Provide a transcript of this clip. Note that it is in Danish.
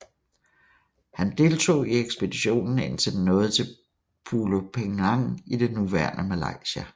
Han deltog i ekspeditionen indtil den nåede til Pulo Penang i det nuværende Malaysia